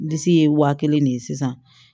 Disi ye wa kelen de ye sisan